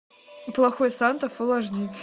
плохой санта фулл аш ди